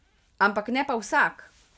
Ampak ne pa vsak.